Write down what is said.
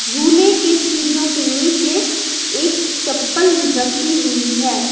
झूले के सीढ़ियों के नीचे एक चप्पल रखी हुई है।